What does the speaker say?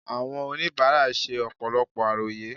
Àwọn oníbàárà ṣe ọ̀pọ̀lọpọ̀ àròyé